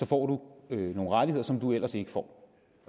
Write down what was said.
får du nogle rettigheder som du ellers ikke får